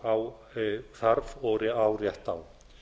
hann þarf og á rétt á